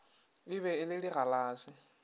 e be e le digalase